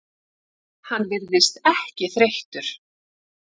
Hann virðist ekki þreyttur.